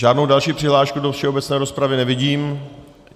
Žádnou další přihlášku do všeobecné rozpravy nevidím.